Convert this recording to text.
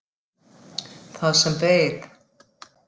Það sem beið.